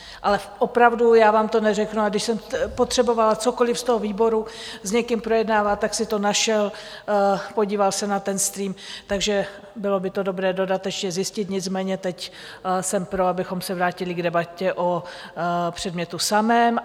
Ale opravdu, já vám to neřeknu, ale když jsem potřebovala cokoliv z toho výboru s někým projednávat, tak si to našel, podíval se na ten stream, takže bylo by to dobré dodatečně zjistit, nicméně teď jsem pro, abychom se vrátili k debatě o předmětu samém.